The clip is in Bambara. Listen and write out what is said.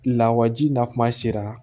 Lawaji na kuma sera